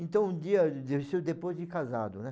Então um dia, isso depois de casado, né?